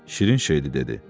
Şirin şeydir dedi.